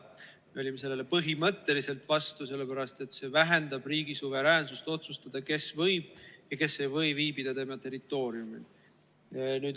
Olime sellele põhimõtteliselt vastu, sellepärast et see vähendab riigi suveräänsust otsustada, kes võib ja kes ei või viibida tema territooriumil.